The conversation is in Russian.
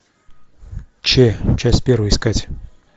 че часть первая искать